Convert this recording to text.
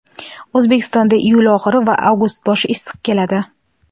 O‘zbekistonda iyul oxiri va avgust boshi issiq keladi.